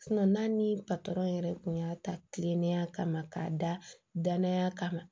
n'a ni patɔrɔn yɛrɛ tun y'a ta kilennenya kama k'a da danaya kama